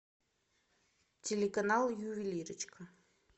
телеканал ювелирочка